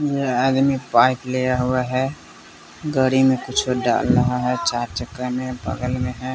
यह आदमी पाइप लिया हुआ है गड़ी में कुछ डाल रहा है चार चक्का में बगल में है।